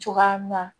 Cogoya min na